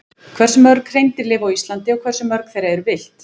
Hversu mörg hreindýr lifa á Íslandi og hversu mörg þeirra eru villt?